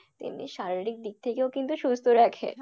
তেমনি শারীরিক দিক থেকেও কিন্তু সুস্থ রাখে।